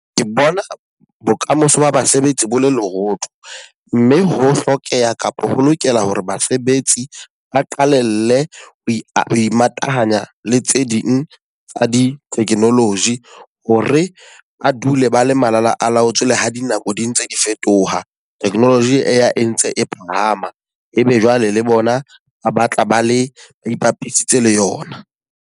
Ke bona bokamoso ba basebetsi bo le lerotho. Mme ho hlokeha, kapa ho lokela hore basebetsi ba qalelle ho imatahanya le tse ding tsa di technology. Ho re ba dule ba le malalaalaotswe le ha dinako di ntse di fetoha, technology e entse e phahama. E be jwale le bona ba tla ba le ipapisitse le yona.